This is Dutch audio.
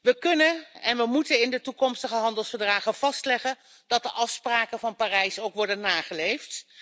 We kunnen en moeten in de toekomstige handelsverdragen vastleggen dat de afspraken van Parijs ook worden nageleefd.